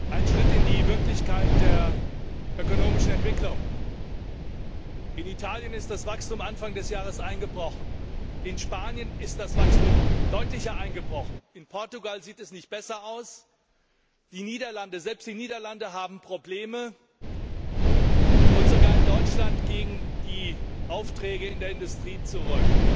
Ein Schritt in die Wirklichkeit der ökonomischen Entwicklung In Italien ist das Wachstum Anfang des Jahres eingebrochen, in Spanien ist das Wachstum deutlicher eingebrochen, in Portugal sieht es nicht besser aus, selbst die Niederlande haben Probleme, und sogar in Deutschland gehen die Aufträge in der Industrie zurück.